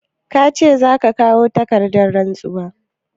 Ka ce za ka kawo takardar rantsuwar?